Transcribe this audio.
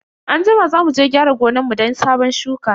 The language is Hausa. Anjima za muje gyara gonan mu don sabon shuka.